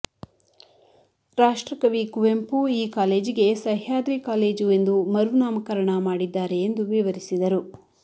ರಾಷ್ಟ್ರಕವಿ ಕುವೆಂಪು ಈ ಕಾಲೇಜಿಗೆ ಸಹ್ಯಾದ್ರಿ ಕಾಲೇಜು ಎಂದು ಮರು ನಾಮಕರಣ ಮಾಡಿದ್ದಾರೆ ಎಂದು ವಿವರಿಸಿದರು